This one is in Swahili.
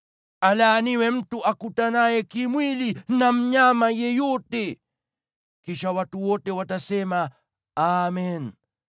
“Alaaniwe mtu akutanaye kimwili na mnyama yeyote.” Kisha watu wote watasema, “Amen!”